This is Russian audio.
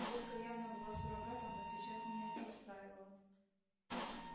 водка явно была суррогатом но сейчас меня это устраивало